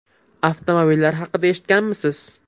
Avtomobillar haqida eshitganmisiz?